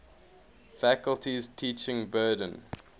faculty's teaching burden